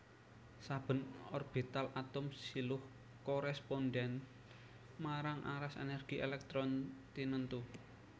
Saben orbital atom siluh korèspondhèn marang aras ènèrgi èlèktron tinentu